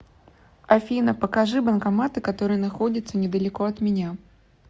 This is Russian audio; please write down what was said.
афина покажи банкоматы которые находятся недалеко от меня